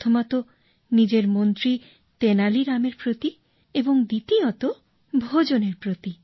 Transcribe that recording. প্রথমতঃ নিজের মন্ত্রী তেনালি রামের প্রতি এবং দ্বিতীয়তঃ ভোজনের প্রতি